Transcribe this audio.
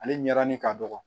Ale ɲɛda ni ka dɔgɔ